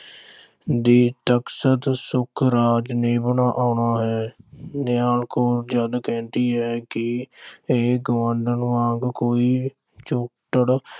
ਦੇ ਸੁਖਰਾਜ ਨੇ ਆਉਣਾ ਹੈ। ਨਿਹਾਲ ਕੌਰ ਜਦ ਕਹਿੰਦੀ ਹੈ ਕਿ ਇਹ ਗੁਆਂਢਣ ਵਾਂਗ ਕੋਈ ਛੁੱਟੜ